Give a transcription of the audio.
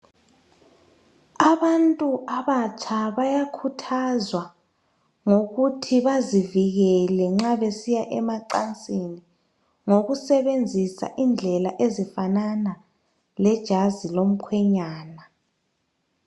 Abantu abatsha bayakhuthazwa ngokuthi bazivikele nxa besiya emacansini ngokusebenzisa indlela ezifanana lejazi lomkhwenyana.